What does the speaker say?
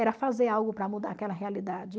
Era fazer algo para mudar aquela realidade.